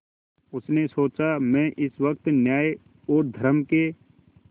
उसने सोचा मैं इस वक्त न्याय और धर्म के